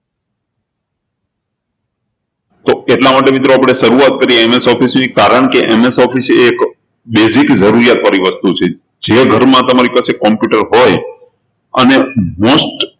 એટલા માટે મિત્રો આપણે શરૂઆત કરીએ MS Office ની કારણકે MS Office એ એક basic જરૂરિયાત વાળી વસ્તુ છે. જે ઘરમાં તમારી પાસે computer હોય અને most